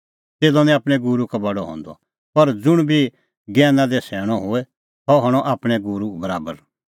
च़ेल्लअ निं आपणैं गूरू का बडअ हंदअ पर ज़ुंण बी ज्ञैना दी सैणअ होए सह हणअ आपणैं गूरू बराबर